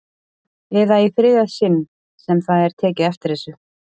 Eða í þriðja sinn sem það er tekið eftir þessu?